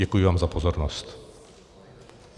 Děkuji vám za pozornost.